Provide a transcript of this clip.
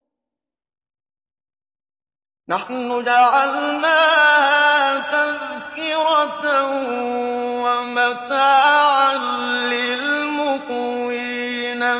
نَحْنُ جَعَلْنَاهَا تَذْكِرَةً وَمَتَاعًا لِّلْمُقْوِينَ